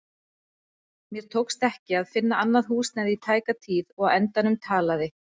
Mér tókst ekki að finna annað húsnæði í tæka tíð og á endanum talaði